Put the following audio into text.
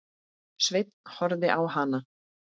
Sveinn horfði á hana.